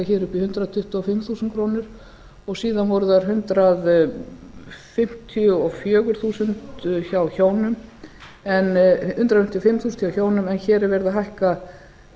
hér upp í hundrað tuttugu og fimm þúsund krónur en síðan voru það hundrað fimmtíu og fimm þúsund hjá hjónum en hér er verið að hækka